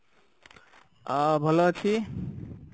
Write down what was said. ଆଁ ଭଲ ଅଛି